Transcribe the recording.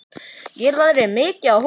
Ég lærði mikið af honum.